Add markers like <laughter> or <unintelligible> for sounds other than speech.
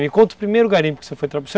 Me conta o primeiro garimpo que você foi <unintelligible>